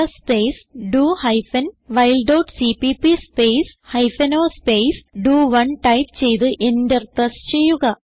g space do hyphen while dot CPP space hyphen o space ഡോ1 type ചെയ്ത് enter press ചെയ്യുക